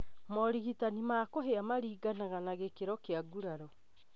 Morigitani ma kũhĩa maringanaga na gĩkĩro kĩa nguraro